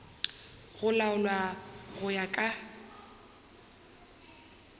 go laolwa go ya ka